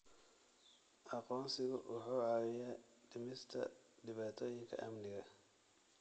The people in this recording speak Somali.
Aqoonsigu wuxuu caawiyaa dhimista dhibaatooyinka amniga.